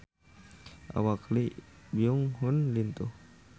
Awak Lee Byung Hun lintuh